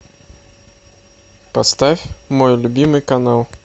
поставь мой любимый канал